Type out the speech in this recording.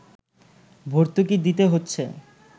ভর্তুকি দিতে হচ্ছে